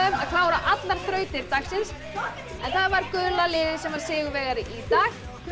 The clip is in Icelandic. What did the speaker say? að klára allar þrautir dagsins en það var gula liðið sem var sigurvegari í dag